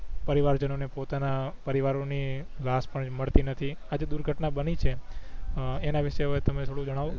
પરિવાર જણો ને પોતના પરિવારો ની લાશ પણ મળતી નથી આજે દુર્ઘટના બની છે એના વિશે હવે તમે થોડું જણાવો